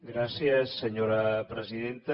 gràcies senyora presidenta